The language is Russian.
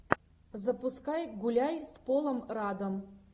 запускай гуляй с полом раддом